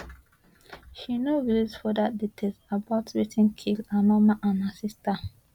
she no release further details about wetin kill her mama and her sister